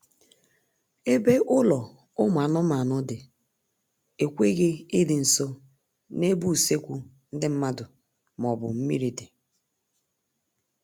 Ebe ụlọ ụmụ anụmanụ dị ekweghị ịdị nso n'ebe usekwu ndị mmadụ maọbụ mmiri dị